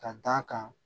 Ka d'a kan